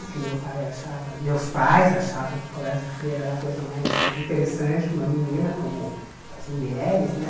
Porque meu pai achava meus pais achavam que colégio de freira era a coisa mais interessante para uma menina, como para as mulheres, né?